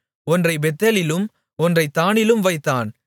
ஒன்றைப் பெத்தேலிலும் ஒன்றைத் தாணிலும் வைத்தான்